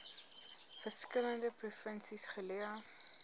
verskillende provinsies geleë